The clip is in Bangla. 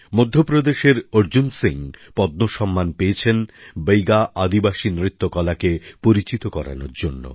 মধ্যপ্রদেশের অর্জুন সিং পদ্ম সম্মান পেয়েছেন বৈগা আদিবাসী নৃত্যকলাকে পরিচিত করানোর জন্য